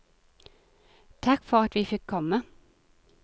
Takk for at vi fikk komme.